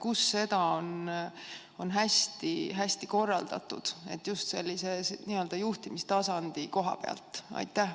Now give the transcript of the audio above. Kus seda on hästi korraldatud, just sellise juhtimistasandi koha pealt?